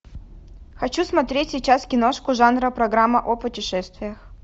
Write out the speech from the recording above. хочу смотреть сейчас киношку жанра программа о путешествиях